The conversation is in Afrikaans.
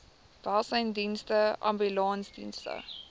welsynsdienste abattoirs ambulansdienste